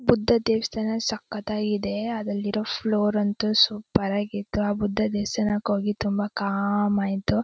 ಬುದ್ಧ ದೇವಸ್ಥಾನ ಸಕ್ಕತಾಗಿದೆ ಅದ್ರಲ್ಲಿರೋ ಫ್ಲೋರ್ ಅಂತು ಸೂಪರ್ ಆಗಿ ಇತ್ತು ಆ ಬುದ್ಧ ದೇವಸ್ಥಾನಕ್ ಹೋಗಿ ತುಂಬಾ ಕಾಮ್ ಆಯಿತು.